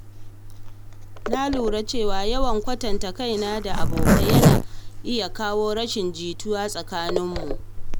Na lura cewa yawan kwatanta kaina da abokai yana iya kawo rashin jituwa a tsakanin mu.